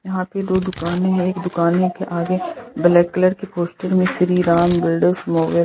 यहां पे दो दुकानें हैं एक दुकान के आगे ब्लैक कलर के पोस्टर में श्री राम बिल्डर्स मोब --